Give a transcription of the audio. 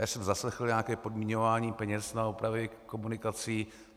Já jsem zaslechl nějaké podmiňování peněz na opravy komunikací.